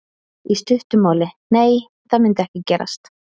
Í stuttu máli: Nei það myndi ekki gerast.